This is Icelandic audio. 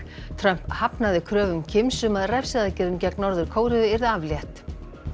Trump hafnaði kröfum Kims um að refsiaðgerðum gegn Norður Kóreu yrði aflétt